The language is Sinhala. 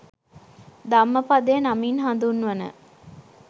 ධම්මපදය නමින් හඳුන්වන